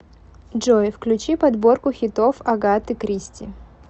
джой включи подборку хитов агаты кристи